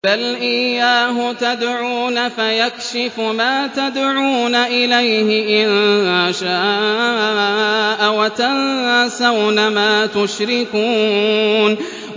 بَلْ إِيَّاهُ تَدْعُونَ فَيَكْشِفُ مَا تَدْعُونَ إِلَيْهِ إِن شَاءَ وَتَنسَوْنَ مَا تُشْرِكُونَ